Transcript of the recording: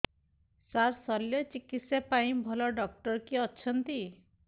ସାର ଶଲ୍ୟଚିକିତ୍ସା ପାଇଁ ଭଲ ଡକ୍ଟର କିଏ ଅଛନ୍ତି